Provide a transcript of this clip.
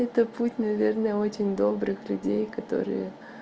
это путь наверное очень добрых людей которые